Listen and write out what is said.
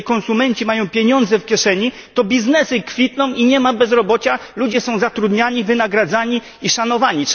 Jeżeli konsumenci mają pieniądze w kieszeni, to biznes kwitnie i nie ma bezrobocia ludzie są zatrudniani, wynagradzani i szanowani.